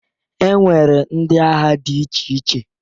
E nwere ndị agha dị iche iche